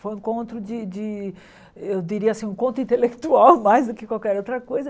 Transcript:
Foi um encontro de de, eu diria assim, um encontro intelectual mais do que qualquer outra coisa.